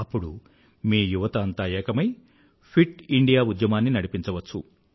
అప్పుడు మీ యువత అంతా ఏకమై ఫిట్ ఇండియా ఉద్యమాన్ని నడిపించ వచ్చు